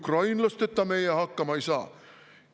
Oi, ukrainlasteta meie hakkama ei saa!